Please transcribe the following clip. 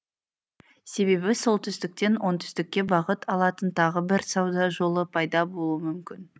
себебі солтүстіктен оңтүстікке бағыт алатын тағы бір сауда жолы пайда болуы мүмкін